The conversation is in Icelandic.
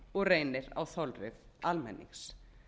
og reynir á þolrif almennings